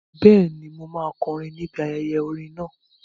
Bẹ́ẹ̀ni, mo máa kọrin ni ibi ayẹyẹ orin náà